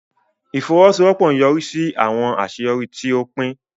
Ifowosowopo nyorisi si awọn aṣeyọri ti o pin.